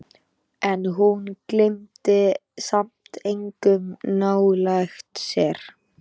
En hún hleypti samt engum nálægt sér.